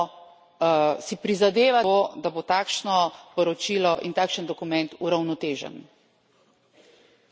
Seveda, moramo si prizadevati za to, da bo takšno poročilo in takšen dokument uravnotežen.